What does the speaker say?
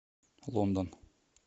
лондон